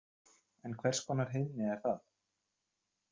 En hvers konar heiðni er það?